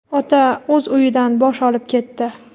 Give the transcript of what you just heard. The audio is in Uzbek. Ota o‘z uyidan bosh olib ketdi.